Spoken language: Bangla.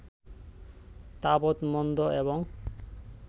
তাবৎ মন্দ এবং